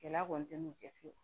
Gɛlɛya kɔni tɛ n'u cɛ fiyewu